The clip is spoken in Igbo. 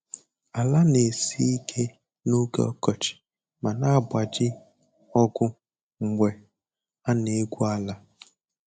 Ala na-esi ike n'oge ọkọchị ma na-agbaji ọgụ mgbe a na-egwu ala.